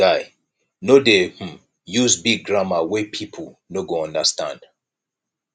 guy no dey um use big grammar wey pipo no go understand